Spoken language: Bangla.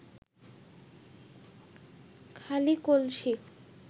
খালি কলসি